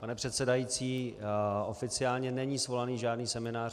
Pane předsedající, oficiálně není svolaný žádný seminář.